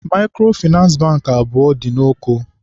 Maịkrofịnansị Bankị abụọ dị n'Oko